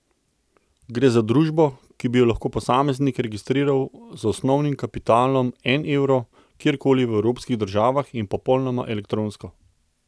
Gre za družbo, ki bi jo lahko posameznik registriral z osnovnim kapitalom en evro, kjer koli v evropskih državah in popolnoma elektronsko.